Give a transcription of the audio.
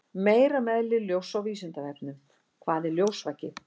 Meira um eðli ljóss á Vísindavefnum: Hvað er ljósvaki?